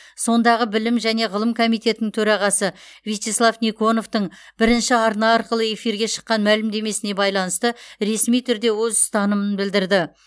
сондағы білім және ғылым комитетінің төрағасы вячеслав никоновтың бірінші арна арқылы эфирге шыққан мәлімдемесіне байланысты ресми түрде өз ұстанымын білдірді